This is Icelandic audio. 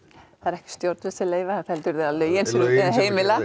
það eru ekki stjórnvöld sem leyfa þetta heldur eru það lögin sem heimila